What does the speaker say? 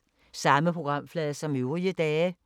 Samme programflade som øvrige dage